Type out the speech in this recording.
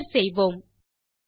Enter செய்வோம்